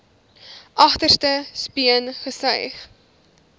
agterste speen gesuig